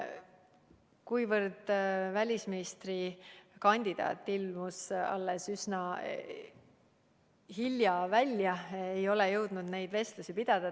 Kuna välisministrikandidaat esitati alles üsna hiljuti, siis ei ole ma jõudnud neid vestlusi pidada.